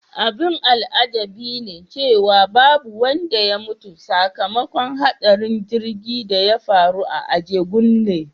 Abin al'ajabi ne cewa babu wanda ya mutu sakamakon hadarin jirgin da ya faru a Ajegunle.